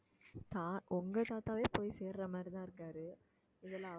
தா~ உங்க தாத்தாவே போய் சேருற மாதிரிதான் இருக்காரு இதுல